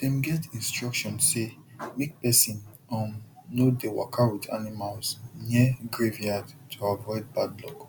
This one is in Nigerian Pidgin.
dem get instruction say make person um no dey waka with animals near graveyard to avoid bad luck